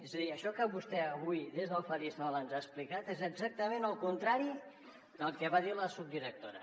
és a dir això que vostè avui des del faristol ens ha explicat és exactament el contrari del que va dir la subdirectora